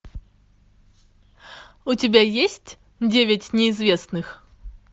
у тебя есть девять неизвестных